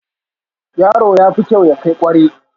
Yaro yafi kyau ya kai kware